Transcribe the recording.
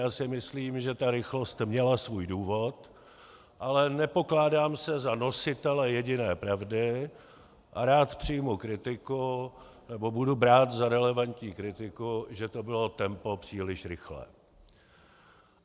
Já si myslím, že ta rychlost měla svůj důvod, ale nepokládám se za nositele jediné pravdy a rád přijmu kritiku, nebo budu brát za relevantní kritiku, že to bylo tempo příliš rychlé.